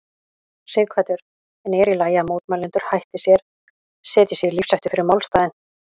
Sighvatur: En er í lagi að mótmælendur hætti sér, setji sig í lífshættu fyrir málstaðinn?